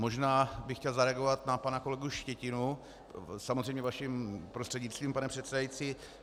Možná bych chtěl zareagovat na pana kolegu Štětinu, samozřejmě vaším prostřednictvím, pane předsedající.